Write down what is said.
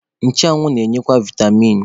Nchụanwụ na-enyekwa vaịtamin.